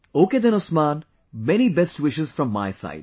Ok then Usman, many best wishes from my side